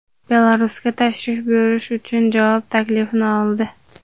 Belarusga tashrif buyurish uchun javob taklifini oldi.